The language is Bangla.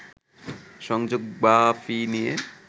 সংযোগ বা ফি নিয়ে